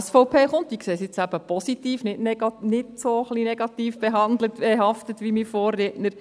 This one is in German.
SVP kommt, sehe ich eben positiv, und nicht ein bisschen negativ behaftet wie mein Vorredner.